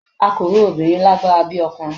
a ko ro Obìnrin ni agbara bi okunrin